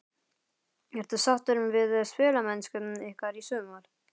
Ertu sáttur við spilamennsku ykkar í sumar?